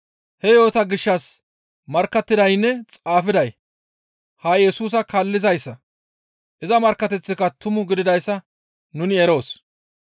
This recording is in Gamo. He yo7ota gishshas markkattidaynne xaafiday ha Yesusa kaallizayssa; iza markkateththika tumu gididayssa nuni eroos.